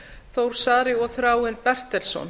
þór saari og þráinn bertelsson